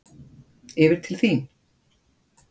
Yfir til þín.